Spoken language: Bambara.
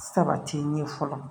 Sabati n ye fɔlɔ